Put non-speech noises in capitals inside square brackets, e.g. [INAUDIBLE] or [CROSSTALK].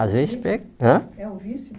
Às vezes [UNINTELLIGIBLE] hã... É um vício?